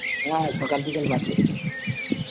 হ্যাঁ সকাল বিকেল পাঠ করতে হয়